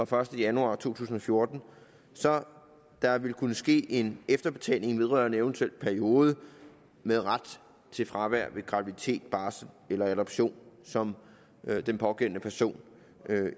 første januar to tusind og fjorten så der vil kunne ske en efterbetaling vedrørende en eventuel periode med ret til fravær ved graviditet barsel og adoption som den pågældende person